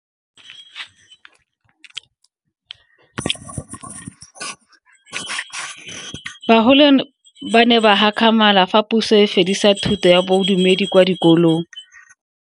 Bagolo ba ne ba gakgamala fa Puso e fedisa thuto ya Bodumedi kwa dikolong.